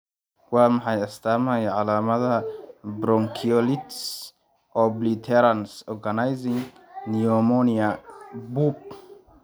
Waa maxay astamaha iyo calaamadaha bronkiolitis obliterans organizing pneumonia (BOOP)?